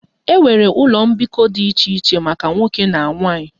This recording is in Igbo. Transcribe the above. E nwere ụlọ mbikọ dị iche iche maka nwoke na nwanyị